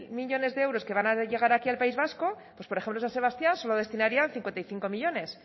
millónes de euros que van a llegar aquí al país vasco pues por ejemplo san sebastián solo destinarían cincuenta y cinco millónes